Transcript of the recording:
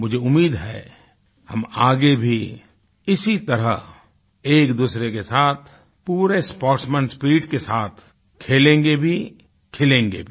मुझे उम्मीद है हम आगे भी इसी तरह एकदूसरे के साथ पूरे स्पोर्ट्समैन स्पिरिट के साथ खेलेंगे भी खिलेंगे भी